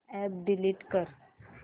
app delete कर